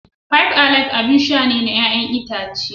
Five alive abin sha ne na 'ya'yan itace.